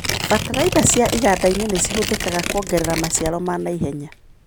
Bataraitha ci igandainĩ nĩcihũthikaga kũongerera maciaro ma naihenya.